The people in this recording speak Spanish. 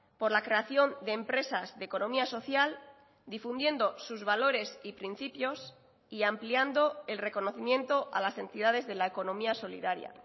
por la creación de empresas de economía social difundiendo sus valores y principios y ampliando el reconocimiento a las entidades de la economía solidaria